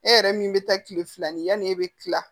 E yɛrɛ min bɛ taa kile fila ni yanni e bɛ tila